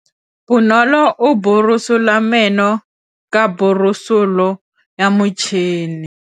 Bonolô o borosola meno ka borosolo ya motšhine.